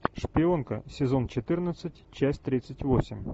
шпионка сезон четырнадцать часть тридцать восемь